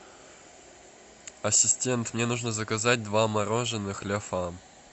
ассистент мне нужно заказать два мороженых ля фам